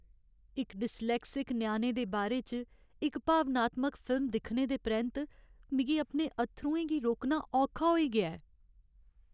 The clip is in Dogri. इक डिस्लेक्सिक ञ्याणे दे बारे च इक भावनात्मक फिल्म दिक्खने दे परैंत्त मिगी अपने अत्थरुएं गी रोकना औखा होई गेआ ऐ।